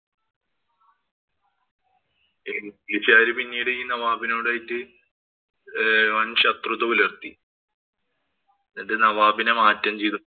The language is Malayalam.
ഇംഗ്ലീഷുകാര് പിന്നീട് ഈ നവാബിനോടായിട്ട് ഏർ വന്‍ ശത്രുത പുലര്‍ത്തി. എന്നിട്ട് നവാബിനെ മാറ്റം ചെയ്തു